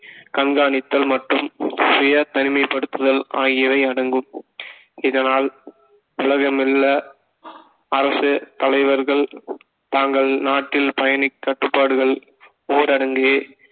கண்காணித்தல் மற்றும் சுய தனிமைப்படுத்துதல் ஆகியவை அடங்கும் இதனால் உலகமெங்குள்ள அரசு தலைவர்கள் தாங்கள் நாட்டில் பயனி கட்டுப்பாடுகள் ஊரடங்கு